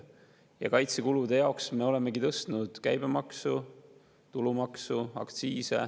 Ja kaitsekulude jaoks me olemegi tõstnud käibemaksu, tulumaksu, aktsiise.